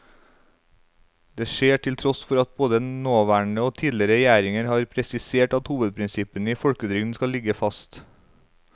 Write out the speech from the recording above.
Det skjer til tross for at både nåværende og tidligere regjeringer har presisert at hovedprinsippene i folketrygden skal ligge fast.